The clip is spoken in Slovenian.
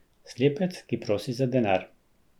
Slepec, ki prosi za denar.